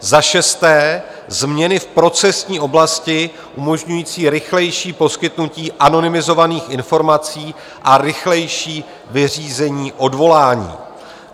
Za šesté změny v procesní oblasti umožňující rychlejší poskytnutí anonymizovaných informací a rychlejší vyřízení odvolání.